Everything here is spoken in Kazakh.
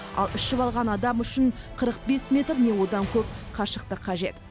ал ішіп алған адам үшін қырық бес метр не одан көп қашықтық қажет